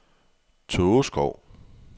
Tågeskov